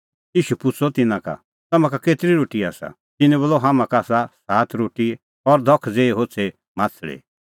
ईशू पुछ़अ तिन्नां का तम्हां का केतरी रोटी आसा तिन्नैं बोलअ हाम्हां का आसा सात रोटी और धख ज़ेही होछ़ी माह्छ़ली